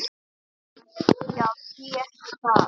Já því ekki það?